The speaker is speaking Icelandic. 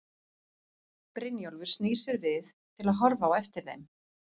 Brynjólfur snýr sér við til að horfa á eftir þeim.